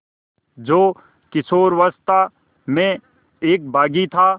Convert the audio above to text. जो किशोरावस्था में एक बाग़ी था